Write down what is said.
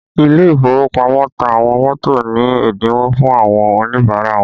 Ile ìfowópamọ́ ta àwọn mọ́tò ní ẹ́dínwó fún àwọn Oníbàárà wọn